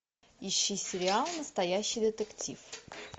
ищи сериал настоящий детектив